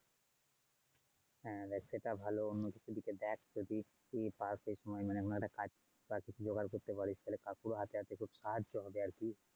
হ্যাঁ দেখ সেটা ভালো অন্য কিছুর দিকে দেখ যদি কিছু পাস। এই সময় মানে অন্য একটা কাজ বা কিছু যদি জোগাড় করতে পারিস তাহলে কাকুর হাতে হাতে একটু সাহায্য হবে আর কি!